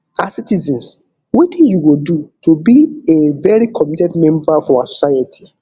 as citizens wetin you go do to be a very committed member of our society